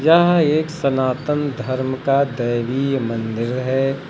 यह एक सनातन धर्म का दैवीय मंदिर है।